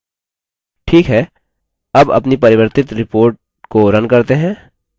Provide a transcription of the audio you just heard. ठीक है अब अपनी परिवर्तित report को रन करते हैं